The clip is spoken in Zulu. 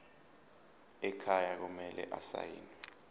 ekhaya kumele asayiniwe